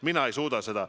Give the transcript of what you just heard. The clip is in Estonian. Mina ei suuda seda.